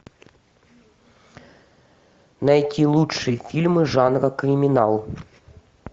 найти лучшие фильмы жанра криминал